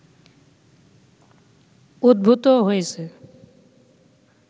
উদ্ভূত হয়েছে